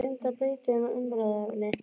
Ég reyndi að breyta um umræðuefni.